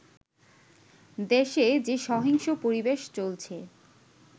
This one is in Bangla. দেশে যে সহিংস পরিবেশ চলছে